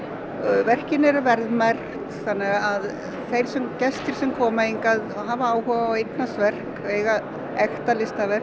verkin eru verðmerkt þannig að gestir sem koma hingað hafa áhuga á að eignast verk ekta listaverk